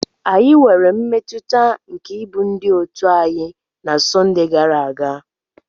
Anyị nwere mmetụta nke ịbụ ndị òtù anyị na Sunday gara aga.